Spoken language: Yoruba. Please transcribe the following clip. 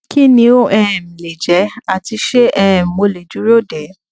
kí ni ó um lè jẹ ati ṣé um mo le duro duro de